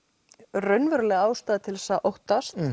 raunveruleg ástæða til þess að óttast